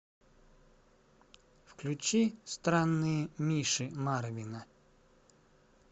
включи странные миши марвина